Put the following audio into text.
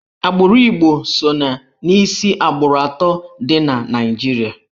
Agbụrụ Igbo so n'isi agbụrụ atọ dị na Naịjirịa.